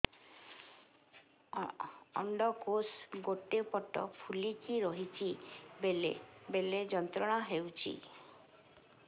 ଅଣ୍ଡକୋଷ ଗୋଟେ ପଟ ଫୁଲିକି ରହଛି ବେଳେ ବେଳେ ଯନ୍ତ୍ରଣା ହେଉଛି